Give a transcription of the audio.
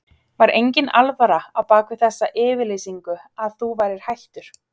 Var enginn alvara á bak við þessa yfirlýsingu að þú værir hættur?